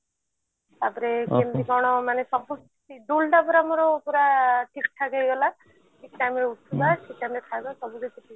ତାପରେ କେମତି କଣ ମାନେ ସବୁ scheduled ଟା ପୁରା ମୋର ପୁରା ଠିକ ଠାକ ହେଇ ଗଲା ଠିକ time ରେ ଉଠିବା ଠିକ time ରେ ଖାଇବା ସବୁ କିଛି ଠିକ